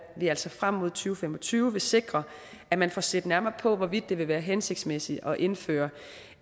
vi altså frem mod to fem og tyve vil sikre at man får set nærmere på hvorvidt det vil være hensigtsmæssigt at indføre